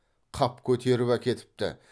қап көтеріп әкетіпті